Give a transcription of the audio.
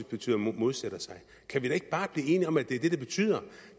betyder at modsætte sig kan vi da ikke bare blive enige om at det er det det betyder